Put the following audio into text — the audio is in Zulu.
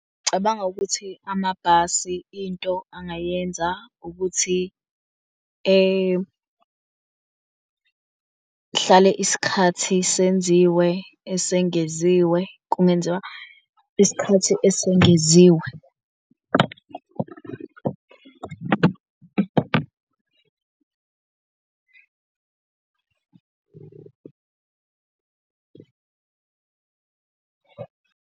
Cabanga ukuthi amabhasi into angayenza ukuthi ehlale isikhathi senziwe esengeziwe kungenziwa isikhathi esengeziwe.